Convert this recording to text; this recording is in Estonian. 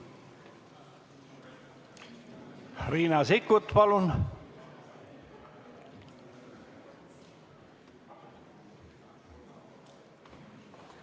Riina Sikkut, palun!